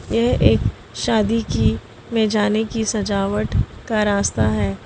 यह एक शादी की में जाने की सजावट का रास्ता है।